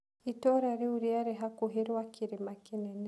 Itũũra rĩu rĩarĩ hakuhĩ rwa kĩrĩma kĩnene.